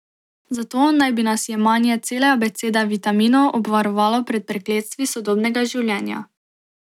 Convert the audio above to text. Zato naj bi nas jemanje cele abecede vitaminov obvarovalo pred prekletstvi sodobnega življenja.